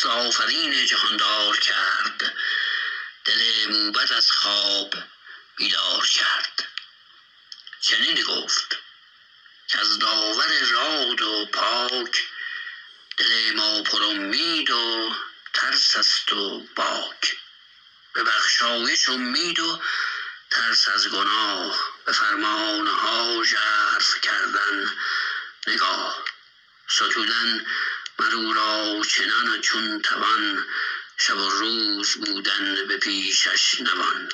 چو خورشید تابان برآمد ز کوه برفتند گردان همه همگروه بدیدند مر پهلوان را پگاه وزان جایگه برگرفتند راه سپهبد فرستاد خواننده را که خواند بزرگان داننده را چو دستور فرزانه با موبدان سرافراز گردان و فرخ ردان به شادی بر پهلوان آمدند خردمند و روشن روان آمدند زبان تیز بگشاد دستان سام لبی پر ز خنده دلی شادکام نخست آفرین جهاندار کرد دل موبد از خواب بیدار کرد چنین گفت کز داور راد و پاک دل ما پر امید و ترس است و باک به بخشایش امید و ترس از گناه به فرمانها ژرف کردن نگاه ستودن مراو را چنان چون توان شب و روز بودن به پیشش نوان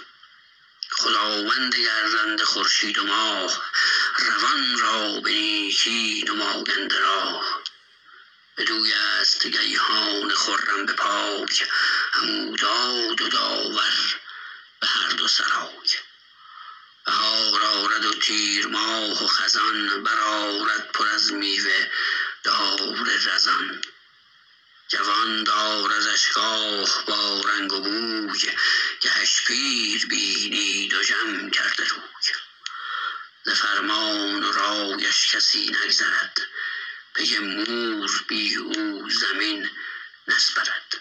خداوند گردنده خورشید و ماه روان را به نیکی نماینده راه بدویست گیهان خرم به پای همو داد و داور به هر دو سرای بهار آرد و تیرماه و خزان برآرد پر از میوه دار رزان جوان داردش گاه با رنگ و بوی گهش پیر بینی دژم کرده روی ز فرمان و رایش کسی نگذرد پی مور بی او زمین نسپرد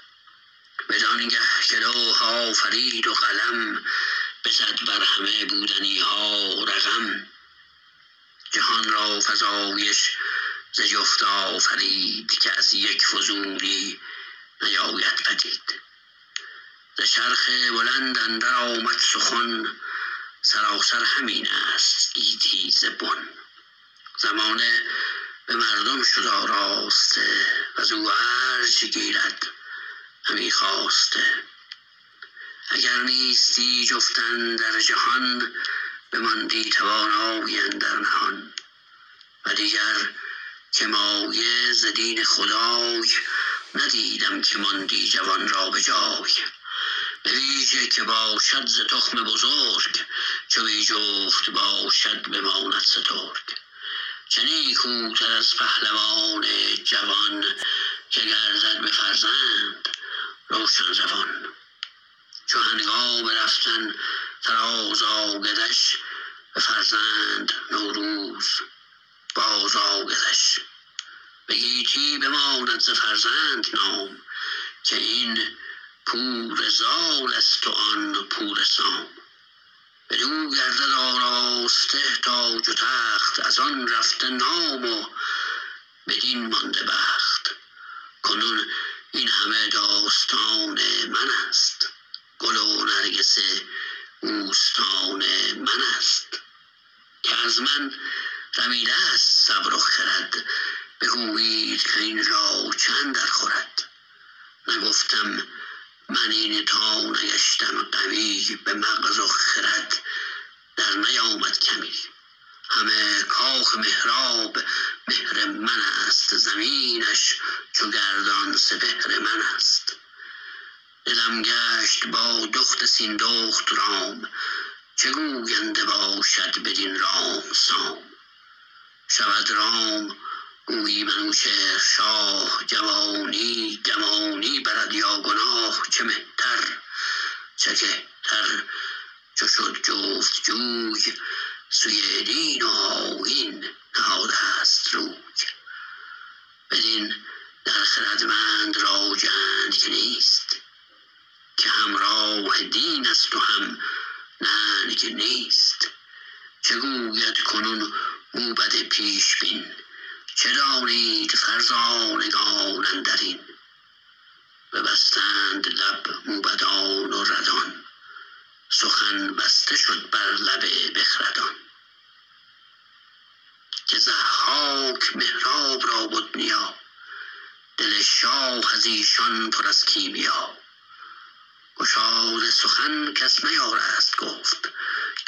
بدانگه که لوح آفرید و قلم بزد بر همه بودنیها رقم جهان را فزایش ز جفت آفرید که از یک فزونی نیاید پدید ز چرخ بلند اندر آمد سخن سراسر همین است گیتی ز بن زمانه به مردم شد آراسته وزو ارج گیرد همی خواسته اگر نیستی جفت اندر جهان بماندی توانای اندر نهان و دیگر که مایه ز دین خدای ندیدم که ماندی جوان را بجای بویژه که باشد ز تخم بزرگ چو بی جفت باشد بماند سترگ چه نیکوتر از پهلوان جوان که گردد به فرزند روشن روان چو هنگام رفتن فراز آیدش به فرزند نو روز بازآیدش به گیتی بماند ز فرزند نام که این پور زالست و آن پور سام بدو گردد آراسته تاج و تخت ازان رفته نام و بدین مانده بخت کنون این همه داستان منست گل و نرگس بوستان منست که از من رمیدست صبر و خرد بگویید کاین را چه اندر خورد نگفتم من این تا نگشتم غمی به مغز و خرد در نیامد کمی همه کاخ مهراب مهر منست زمینش چو گردان سپهر منست دلم گشت با دخت سیندخت رام چه گوینده باشد بدین رام سام شود رام گویی منوچهر شاه جوانی گمانی برد یا گناه چه مهتر چه کهتر چو شد جفت جوی سوی دین و آیین نهادست روی بدین در خردمند را جنگ نیست که هم راه دینست و هم ننگ نیست چه گوید کنون موبد پیش بین چه دانید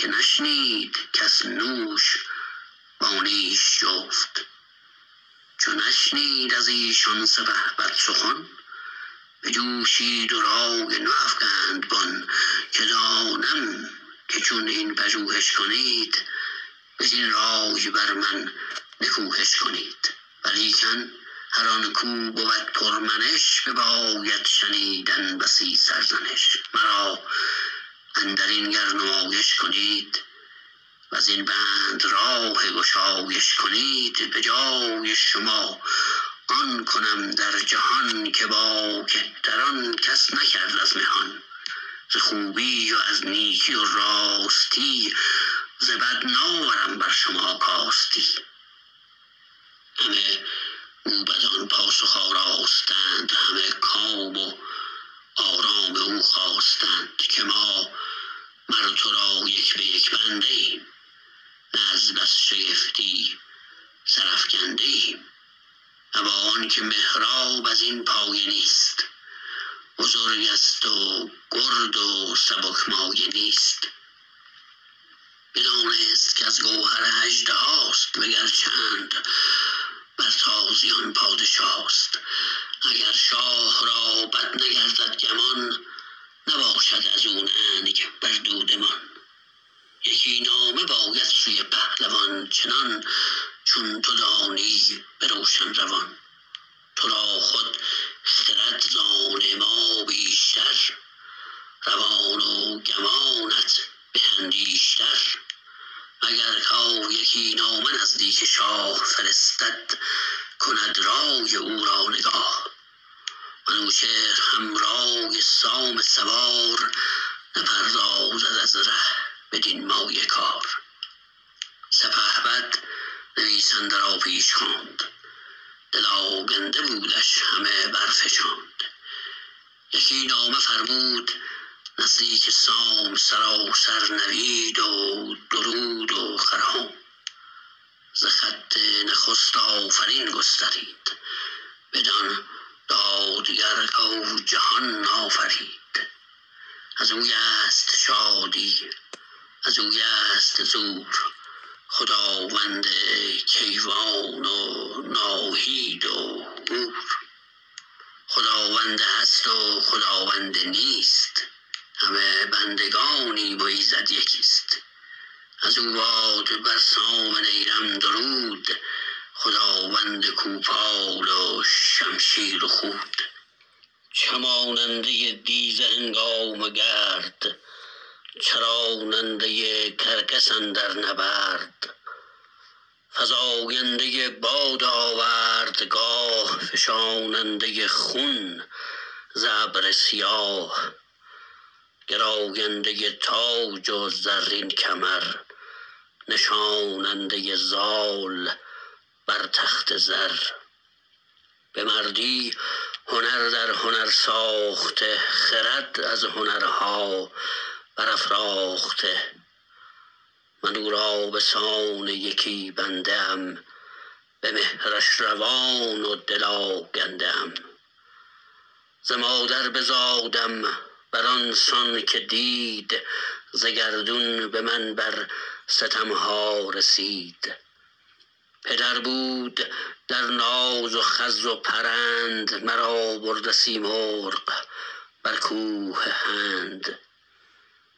فرزانگان اندرین ببستند لب موبدان و ردان سخن بسته شد بر لب بخردان که ضحاک مهراب را بد نیا دل شاه ازیشان پر از کیمیا گشاده سخن کس نیارست گفت که نشنید کس نوش با نیش جفت چو نشنید از ایشان سپهبد سخن بجوشید و رای نو افگند بن که دانم که چون این پژوهش کنید بدین رای بر من نکوهش کنید ولیکن هر آنکو بود پر منش بباید شنیدن بسی سرزنش مرا اندرین گر نمایش کنید وزین بند راه گشایش کنید به جای شما آن کنم در جهان که با کهتران کس نکرد از مهان ز خوبی و از نیکی و راستی ز بد ناورم بر شما کاستی همه موبدان پاسخ آراستند همه کام و آرام او خواستند که ما مر ترا یک به یک بنده ایم نه از بس شگفتی سرافگنده ایم ابا آنکه مهراب ازین پایه نیست بزرگست و گرد و سبک مایه نیست بدانست کز گوهر اژدهاست و گر چند بر تازیان پادشاست اگر شاه رابد نگردد گمان نباشد ازو ننگ بر دودمان یکی نامه باید سوی پهلوان چنان چون تو دانی به روشن روان ترا خود خرد زان ما بیشتر روان و گمانت به اندیشتر مگر کو یکی نامه نزدیک شاه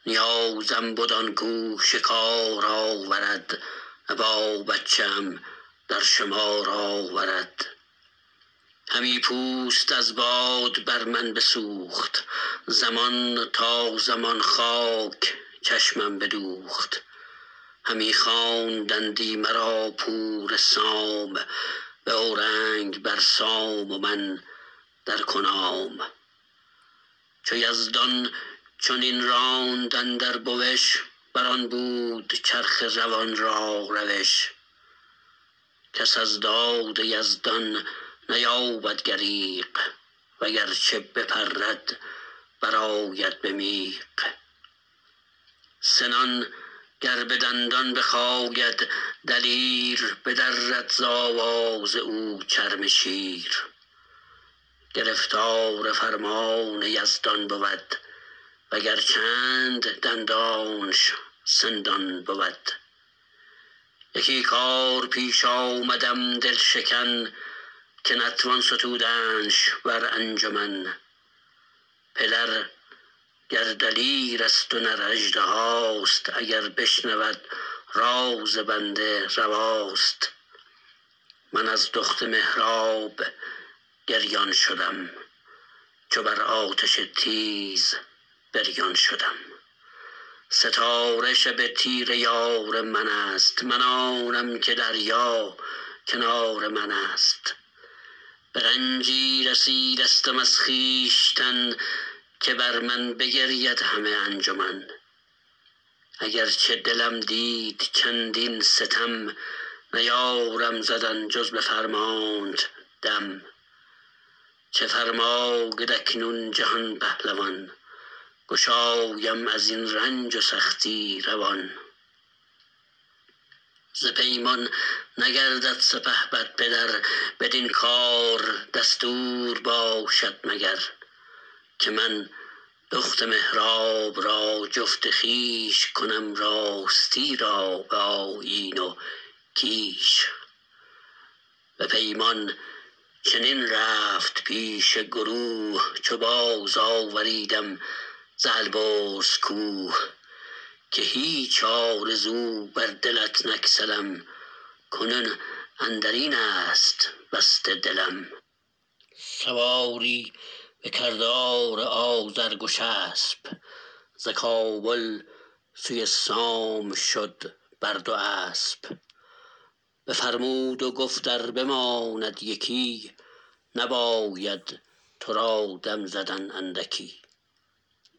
فرستد کند رای او را نگاه منوچهر هم رای سام سوار نپردازد از ره بدین مایه کار سپهبد نویسنده را پیش خواند دل آگنده بودش همه برفشاند یکی نامه فرمود نزدیک سام سراسر نوید و درود و خرام ز خط نخست آفرین گسترید بدان دادگر کو جهان آفرید ازویست شادی ازویست زور خداوند کیوان و ناهید و هور خداوند هست و خداوند نیست همه بندگانیم و ایزد یکیست ازو باد بر سام نیرم درود خداوند کوپال و شمشیر و خود چماننده دیزه هنگام گرد چراننده کرگس اندر نبرد فزاینده باد آوردگاه فشاننده خون ز ابر سیاه گراینده تاج و زرین کمر نشاننده زال بر تخت زر به مردی هنر در هنر ساخته خرد از هنرها برافراخته من او را بسان یکی بنده ام به مهرش روان و دل آگنده ام ز مادر بزادم بران سان که دید ز گردون به من بر ستمها رسید پدر بود در ناز و خز و پرند مرا برده سیمرغ بر کوه هند نیازم بد آنکو شکار آورد ابا بچه ام در شمار آورد همی پوست از باد بر من بسوخت زمان تا زمان خاک چشمم بدوخت همی خواندندی مرا پور سام به اورنگ بر سام و من در کنام چو یزدان چنین راند اندر بوش بران بود چرخ روان را روش کس از داد یزدان نیابد گریغ وگرچه بپرد برآید به میغ سنان گر بدندان بخاید دلیر بدرد ز آواز او چرم شیر گرفتار فرمان یزدان بود وگر چند دندانش سندان بود یکی کار پیش آمدم دل شکن که نتوان ستودنش بر انجمن پدر گر دلیرست و نراژدهاست اگر بشنود راز بنده رواست من از دخت مهراب گریان شدم چو بر آتش تیز بریان شدم ستاره شب تیره یار منست من آنم که دریا کنار منست به رنجی رسیدستم از خویشتن که بر من بگرید همه انجمن اگرچه دلم دید چندین ستم نیارم زدن جز به فرمانت دم چه فرماید اکنون جهان پهلوان گشایم ازین رنج و سختی روان ز پیمان نگردد سپهبد پدر بدین کار دستور باشد مگر که من دخت مهراب را جفت خویش کنم راستی را به آیین و کیش به پیمان چنین رفت پیش گروه چو باز آوریدم ز البرز کوه که هیچ آرزو بر دلت نگسلم کنون اندرین است بسته دلم سواری به کردار آذر گشسپ ز کابل سوی سام شد بر دو اسپ بفرمود و گفت ار بماند یکی نباید ترا دم زدن اندکی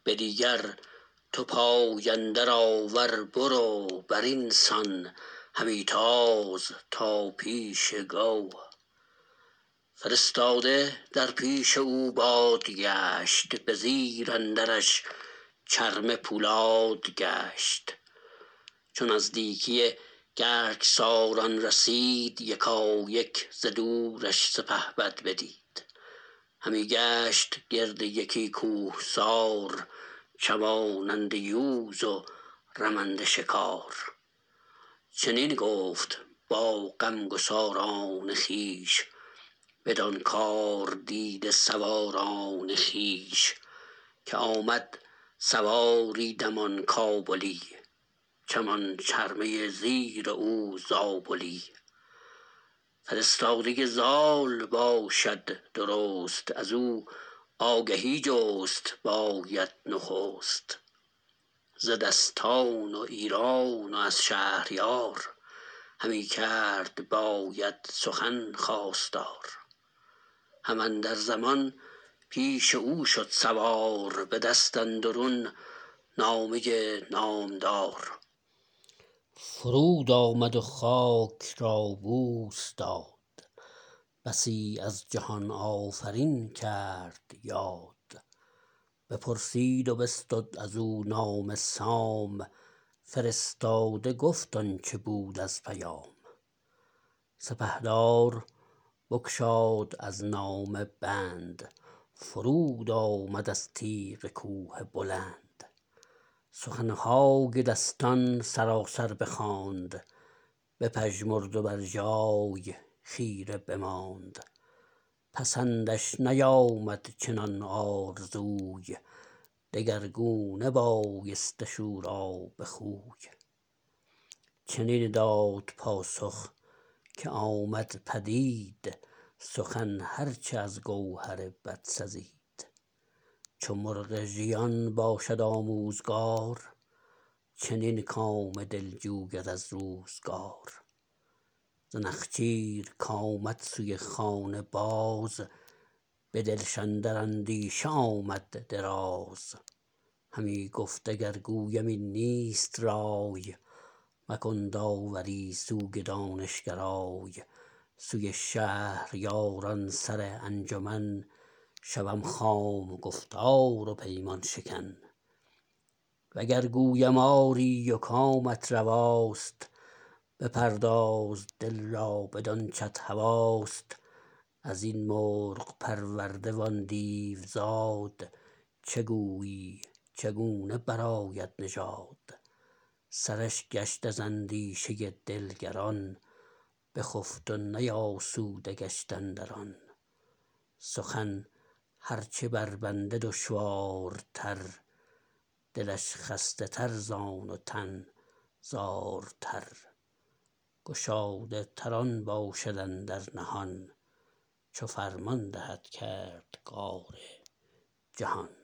به دیگر تو پای اندر آور برو برین سان همی تاز تا پیش گو فرستاده در پیش او باد گشت به زیر اندرش چرمه پولاد گشت چو نزدیکی گرگساران رسید یکایک ز دورش سپهبد بدید همی گشت گرد یکی کوهسار چماننده یوز و رمنده شکار چنین گفت با غمگساران خویش بدان کار دیده سواران خویش که آمد سواری دمان کابلی چمان چرمه زیر او زابلی فرستاده زال باشد درست ازو آگهی جست باید نخست ز دستان و ایران و از شهریار همی کرد باید سخن خواستار هم اندر زمان پیش او شد سوار به دست اندرون نامه نامدار فرود آمد و خاک را بوس داد بسی از جهان آفرین کرد یاد بپرسید و بستد ازو نامه سام فرستاده گفت آنچه بود از پیام سپهدار بگشاد از نامه بند فرود آمد از تیغ کوه بلند سخنهای دستان سراسر بخواند بپژمرد و بر جای خیره بماند پسندش نیامد چنان آرزوی دگرگونه بایستش او را به خوی چنین داد پاسخ که آمد پدید سخن هر چه از گوهر بد سزید چو مرغ ژیان باشد آموزگار چنین کام دل جوید از روزگار ز نخچیر کامد سوی خانه باز به دلش اندر اندیشه آمد دراز همی گفت اگر گویم این نیست رای مکن داوری سوی دانش گرای سوی شهریاران سر انجمن شوم خام گفتار و پیمان شکن و گر گویم آری و کامت رواست بپرداز دل را بدانچت هواست ازین مرغ پرورده وان دیوزاد چه گویی چگونه برآید نژاد سرش گشت از اندیشه دل گران بخفت و نیاسوده گشت اندران سخن هر چه بر بنده دشوارتر دلش خسته تر زان و تن زارتر گشاده تر آن باشد اندر نهان چو فرمان دهد کردگار جهان